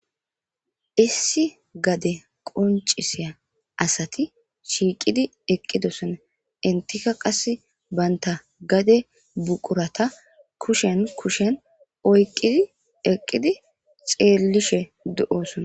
Issi gade qoncisiya asati shiiqidi eqqidosona intika qas baynta gade buqurata kushen kushen oyqidi eqqidi xeellishe do7osona.